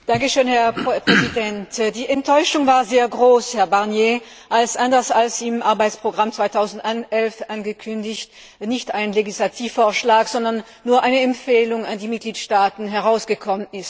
Herr Präsident! Die Enttäuschung war sehr groß, Herr Barnier, als anders als im Arbeitsprogramm 2011 angekündigt nicht ein Legislativvorschlag, sondern nur eine Empfehlung an die Mitgliedstaaten herausgekommen ist.